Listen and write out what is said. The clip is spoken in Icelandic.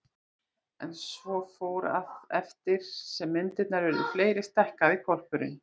En svo fór, að eftir því sem myndirnar urðu fleiri stækkaði hvolpurinn.